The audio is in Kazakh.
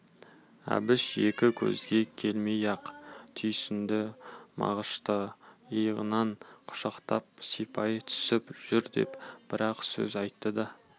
әбіш екі сөзге келмей-ақ түйсінді мағышты иығынан құшақтап сипай түсіп жүр деп бір-ақ сөз айтты да